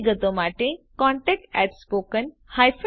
વધુ વિગતો માટે contactspoken tutorialorg પર સંપર્ક કરો